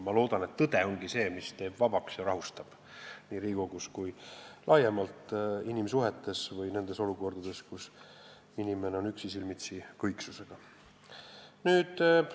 Ma loodan, et tõde ongi see, mis teeb vabaks ja rahustab inimesi Riigikogus, inimsuhetes laiemalt või nendes olukordades, kus inimene on üksi kõiksusega silmitsi.